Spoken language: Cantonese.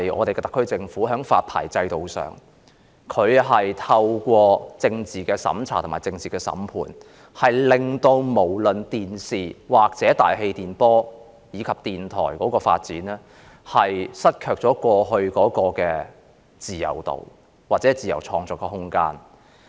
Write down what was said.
特區政府在發牌制度上透過政治審查、政治審判，令電視、大氣電波或電台的發展也失卻了過去的自由度和自由創作的空間。